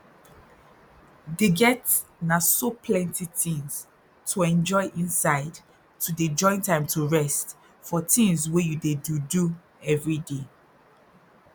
dey get na so plenty tins to enjoy inside to dey join time to rest for tins wey you dey do do everyday